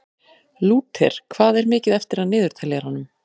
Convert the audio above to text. Lúter, hvað er mikið eftir af niðurteljaranum?